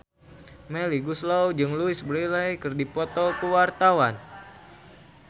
Melly Goeslaw jeung Louise Brealey keur dipoto ku wartawan